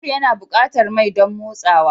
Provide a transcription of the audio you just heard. Babur yana buƙatar mai don motsawa.